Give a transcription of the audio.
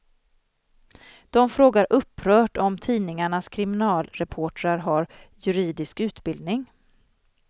De frågar upprört om tidningarnas kriminalreportrar har juridisk utbildning.